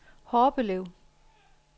Horbelev